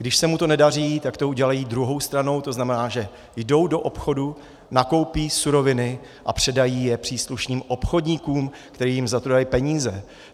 Když se mu to nedaří, tak to udělají druhou stranou, to znamená, že jdou do obchodu, nakoupí suroviny a předají je příslušným obchodníkům, kteří jim za to dají peníze.